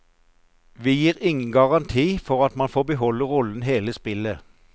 Vi gir ingen garanti for at man får beholde rollen hele spillet.